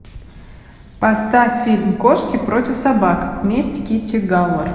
поставь фильм кошки против собак месть китти галор